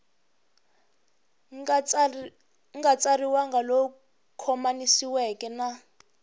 nga tsariwangi lowu khomanisiweke na